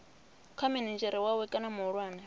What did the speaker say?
kha minidzhere wawe kana muhulwane